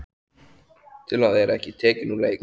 Til að vera ekki tekinn úr leik.